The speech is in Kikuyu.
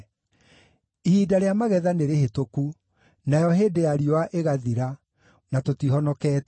“Ihinda rĩa magetha nĩrĩhĩtũku, nayo hĩndĩ ya riũa ĩgathira, na tũtihonoketio.”